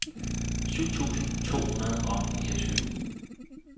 syv tusind to hundrede og niogtyve